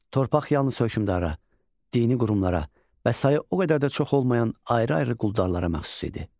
Torpaq yalnız hökmdarlara, dini qurumlara və sayı o qədər də çox olmayan ayrı-ayrı quldarlara məxsus idi.